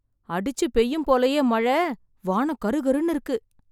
அடிச்சு பெய்யும் போலயே மழை. வானம் கருகருன்னு இருக்கு.